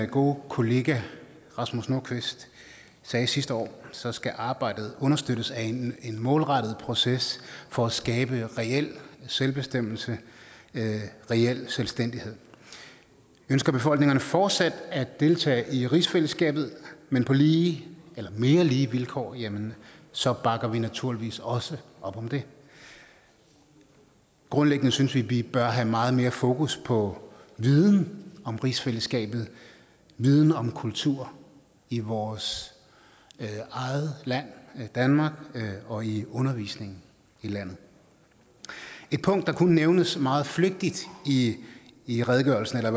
gode kollega herre rasmus nordqvist sagde sidste år så skal arbejdet understøttes af en målrettet proces for at skabe reel selvbestemmelse reel selvstændighed ønsker befolkningerne fortsat at deltage i rigsfællesskabet men på lige eller mere lige vilkår jamen så bakker vi naturligvis også op om det grundlæggende synes vi at vi bør have meget mere fokus på viden om rigsfællesskabet viden om kultur i vores eget land danmark og i undervisningen i landet et punkt der kun nævnes meget flygtigt i i redegørelsen eller